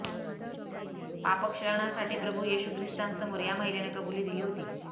पापक्षालनासाठी प्रभू येशू ख्रिस्तांसमोर या महिलेनं कबुली दिली होती